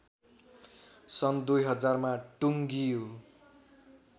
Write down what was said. सन् २००० मा टुङ्गियो